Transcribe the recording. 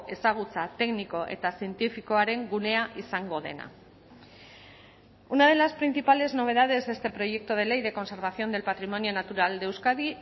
ezagutza tekniko eta zientifikoaren gunea izango dena una de las principales novedades de este proyecto de ley de conservación del patrimonio natural de euskadi